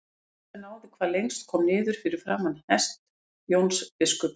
Eitt sem náði hvað lengst kom niður fyrir framan hest Jóns biskups.